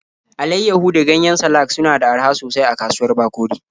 Alaiyahu da ganyen salak suna da araha sosai a kasuwar Bakori.